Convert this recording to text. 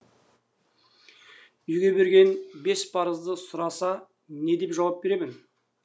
үйге берген бес парызды сұраса не деп жауап беремін